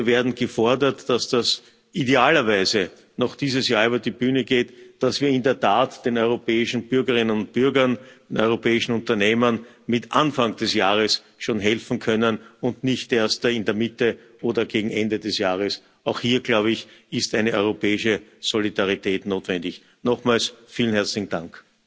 Wir werden gefordert, dass das idealerweise noch dieses Jahr über die Bühne geht, damit wir in der Tat den europäischen Bürgerinnen und Bürgern und den europäischen Unternehmern mit Anfang des Jahres schon helfen können und nicht erst in der Mitte oder gegen Ende des Jahres. Auch hier, glaube ich, ist europäische Solidarität notwendig. Nochmals vielen herzlichen Dank!